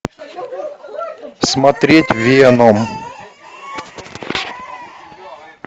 смотреть веном